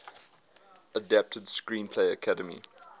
adapted screenplay academy